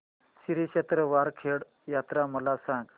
श्री क्षेत्र वरखेड यात्रा मला सांग